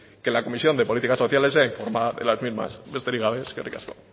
que la comisión de políticas sociales sea informada de las mismas besterik gabe eskerrik asko